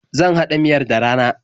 Zan haɗa miyar da rana.